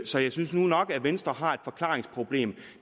så jeg synes nu nok at venstre har et forklaringsproblem